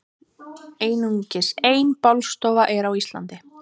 einungis ein bálstofa er á íslandi